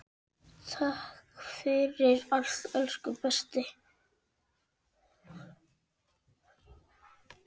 Takk fyrir allt elsku besti.